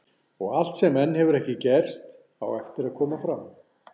Og allt sem enn hefur ekki gerst, á eftir að koma fram.